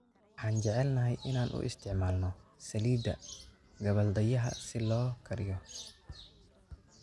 Waxaan jecelnahay inaan u isticmaalno saliidda gabbaldayaha si loo kariyo.